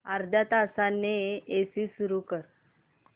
अर्ध्या तासाने एसी सुरू कर